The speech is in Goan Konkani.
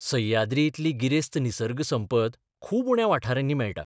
सह्याद्रीइतली गिरेस्त निसर्गसंपत खूब उण्या वाठारांनी मेळटा.